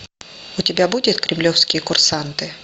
у тебя будет кремлевские курсанты